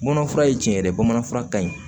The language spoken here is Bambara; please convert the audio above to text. Bamanan fura ye tiɲɛ de ye bamanan fura ka ɲi